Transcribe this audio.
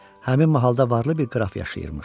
Həmin mahalda varlı bir qraf yaşayırmış.